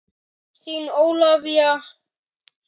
Þín Ólafía.